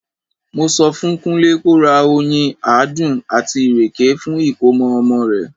Mo sọ fún Kúnlé ko ra oyín, àádùn, àti ìrèké fún ìkómọ ọmọ rẹ̀.